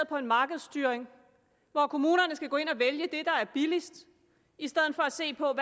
på en markedsstyring hvor kommunerne skal gå ind og vælge det der er billigst i stedet for at se på